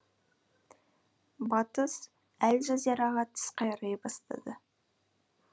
батыс әл жазираға тіс қайрай бастады